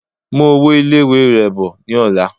Mú owó ilé-ìwé rẹ bọ̀ ní ọ̀la